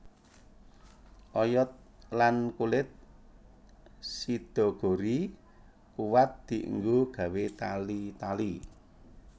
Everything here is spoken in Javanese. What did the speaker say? Oyod lan kulit sidaguri kuwat dienggo gawé tali tali